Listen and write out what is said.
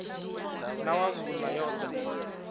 na wa vhuṋa yo ḓa